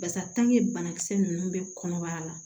Basa banakisɛ ninnu bɛ kɔnɔbara la